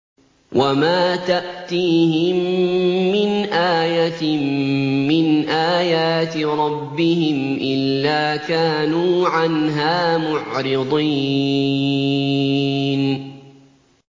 وَمَا تَأْتِيهِم مِّنْ آيَةٍ مِّنْ آيَاتِ رَبِّهِمْ إِلَّا كَانُوا عَنْهَا مُعْرِضِينَ